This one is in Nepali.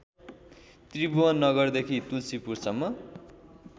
त्रिभुवन नगरदेखि तुल्सीपुरसम्म